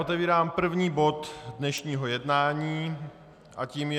Otevírám první bod dnešního jednání a tím je